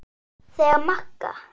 Þegar Magga